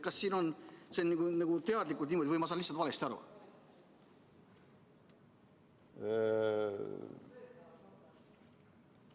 Kas see on teadlikult niimoodi sõnastatud või ma saan lihtsalt valesti aru?